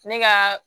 Ne ka